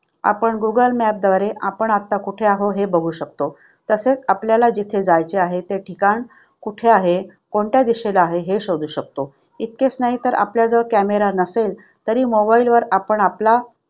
आपण गुगल मॅपद्वारे आपण आता कुठे आहे हे बघू शकतो तसेच आपल्याला जिथे जायचे आहे ते ठिकाण कुठे आहे, हे शोधू शकतो. इतकेच नाही तर आपल्याजवळ camera नसेल तरी mobile वर आपण आपला